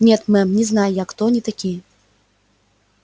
нет мэм не знаю я кто они такие